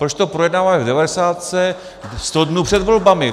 Proč to projednáváme v devadesátce, sto dnů před volbami!